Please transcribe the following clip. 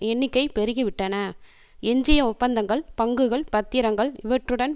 எண்ணிக்கை பெருகிவிட்டன எஞ்சிய ஒப்பந்தங்கள் பங்குகள் பத்திரங்கள் இவற்றுடன்